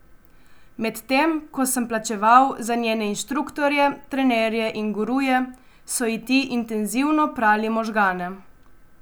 Medtem ko sem plačeval za njene inštruktorje, trenerje in guruje, so ji ti intenzivno prali možgane.